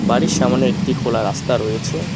বাড়ির সামোনে একটি খোলা রাস্তা রয়েছে।